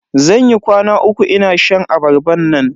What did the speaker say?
Zan yi kwana uku ina shan abarban nan.